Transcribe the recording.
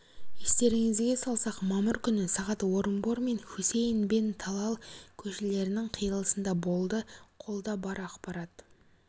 естеріңізге салсақ мамыр күні сағат орынбор мен хусейн бен талал көшелерінің қиылысында болды қолда бар ақпарат